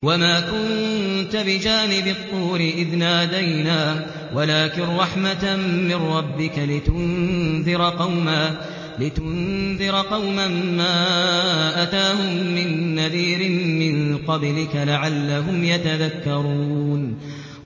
وَمَا كُنتَ بِجَانِبِ الطُّورِ إِذْ نَادَيْنَا وَلَٰكِن رَّحْمَةً مِّن رَّبِّكَ لِتُنذِرَ قَوْمًا مَّا أَتَاهُم مِّن نَّذِيرٍ مِّن قَبْلِكَ لَعَلَّهُمْ يَتَذَكَّرُونَ